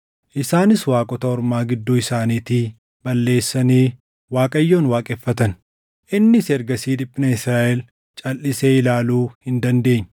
Isaanis waaqota ormaa gidduu isaaniitii balleessanii Waaqayyoon waaqeffatan. Innis ergasii dhiphina Israaʼel calʼisee ilaaluu hin dandeenye.